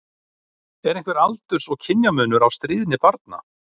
Er einhver aldurs- og kynjamunur á stríðni barna?